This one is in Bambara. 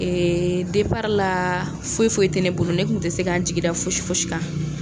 Ɛɛ la, foyi foyi tɛ ne bolo ne tun tɛ se k'an jigi da fosi fosi kan.